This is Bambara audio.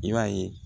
I b'a ye